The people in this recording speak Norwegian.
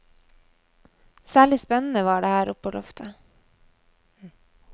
Særlig spennende var det oppe på loftet.